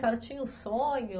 A senhora tinha um sonho?